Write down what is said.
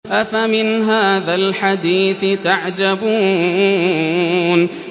أَفَمِنْ هَٰذَا الْحَدِيثِ تَعْجَبُونَ